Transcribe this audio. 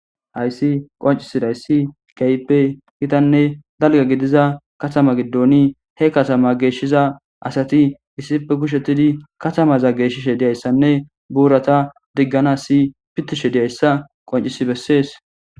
hayssi qoncisidayssi kaype kitanne dalga gidiza katama giddoni he katama geeshshiza asati issipe kushettidi katamaza geeshishe diyayssanne buurata diggana si pitishe diyayssa qoncisi bessees